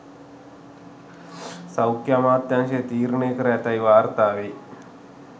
සෞඛ්‍ය අමාත්‍යාංශය තීරණය කර ඇතැයි වාර්තා වෙයි